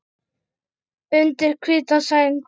Undir hvíta sæng.